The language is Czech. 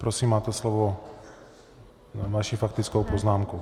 Prosím máte slovo na vaši faktickou poznámku.